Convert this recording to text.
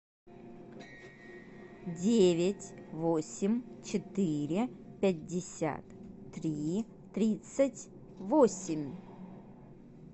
девять восемь четыре пятьдесят три тридцать восемь